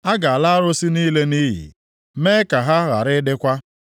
A ga-ala arụsị niile nʼiyi, mee ka ha ghara ịdịkwa.